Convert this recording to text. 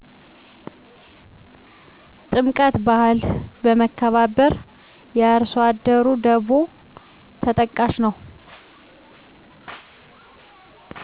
ጥምቀት ባህል፣ መከባበር፣ የአርሶአደሩ ደቮ ተጠቃሽ ነው